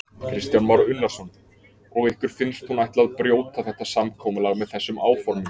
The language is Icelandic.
Kristján Már Unnarsson: Og ykkur finnst hún ætla að brjóta þetta samkomulag með þessum áformum?